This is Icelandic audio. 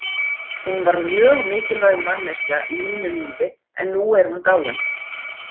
Hún var mjög mikilvæg manneskja í mínu lífi en nú er hún dáin.